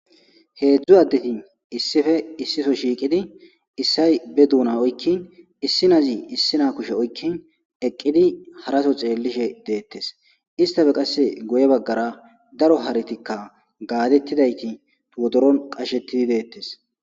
heedzdzu addeti issife issifo shiiqidi issay be duuna oykkin issinazi issina kushe oykkin eqqidi haraso xeellishe deettes istafe qasse goye baggara daro haritikka gaadettidayti wodoron qashetidayt beettes